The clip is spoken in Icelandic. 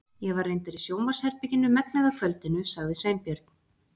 Ég var reyndar í sjónvarpsherberginu megnið af kvöldinu- sagði Sveinbjörn.